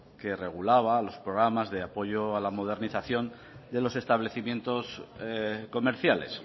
que regulaba los programas de apoyo a la modernización de los establecimientos comerciales